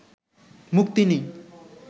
মুক্তি নেই